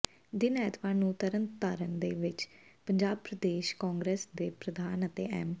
ਦਿਨ ਐਤਵਾਰ ਨੂੰ ਤਰਨ ਤਾਰਨ ਦੇ ਵਿਚ ਪੰਜਾਬ ਪ੍ਰਦੇਸ਼ ਕਾਂਗਰਸ ਦੇ ਪ੍ਰਧਾਨ ਅਤੇ ਐਮ